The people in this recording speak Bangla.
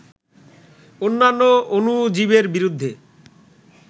অন্যান্য অণুজীবের বিরুদ্ধে